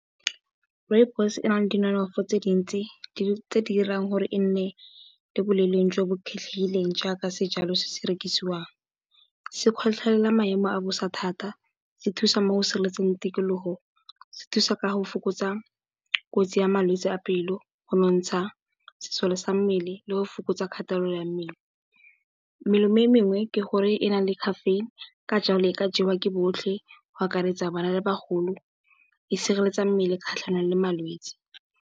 Rooibos ena le tse dintsi tse di dirang gore e nne le boleng jo bo kgethegileng jaaka sejalo se se rekisiwang. Se kgotlhelela maemo a bosa thata, se thusa mo go sireletseng tikologo, se thusa ka go fokotsa kotsi ya malwetse a pelo, go nontsha sesole sa mmele le go fokotsa kgatelelo ya mmele. Melemo e mengwe ke gore e na le caffeine ka jalo e ka jewa ke botlhe go akaretsa bana le bagolo, e sireletsa mmele kgatlhanong le malwetsi.